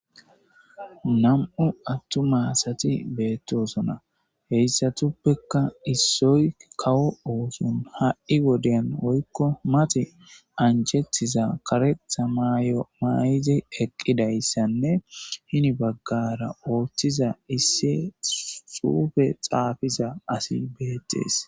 nam7u attu masati beettosona heyssatuppekka issoy kawo oosun ha7i woden woykko mati anjetiza karetha maayo may7izi eqqidayssanne hini baggara ooththiza issi xuufe xaafiza asi beettees